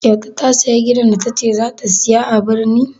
Kyauta ta sayi gidan da ta ce za ta saya a birni?